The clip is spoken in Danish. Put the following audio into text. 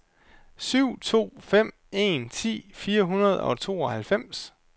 syv to fem en ti fire hundrede og tooghalvfems